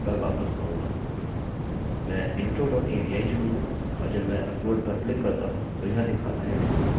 मैं intro dot avi चुनूँगा और जब मैं अपलोड पर क्लिक करता हूँ तो यह दिखाता है कि format is not allowed